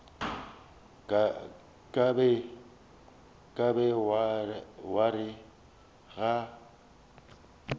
ka be wa re ga